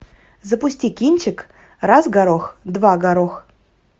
запусти кинчик раз горох два горох